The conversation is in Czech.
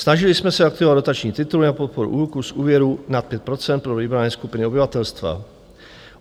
Snažili jsme se aktivovat dotační tituly na podporu úroků z úvěrů na 5 % pro vybrané skupiny obyvatelstva.